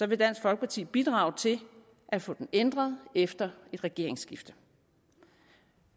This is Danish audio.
vil dansk folkeparti bidrage til at få den ændret efter et regeringsskifte